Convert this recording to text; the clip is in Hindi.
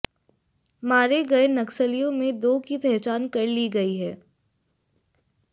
मारे गए नक्सलियों में दो की पहचान कर ली गई है